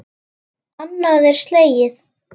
Annað er slegið.